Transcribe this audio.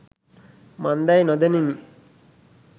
මන්දැයි නොදනිමි.